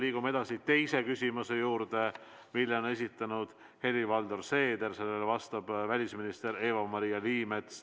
Liigume edasi teise küsimuse juurde, mille on esitanud Helir-Valdor Seeder ja millele vastab välisminister Eva-Maria Liimets.